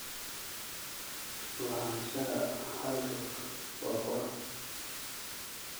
Lahaanshaha hal rug waa qurux.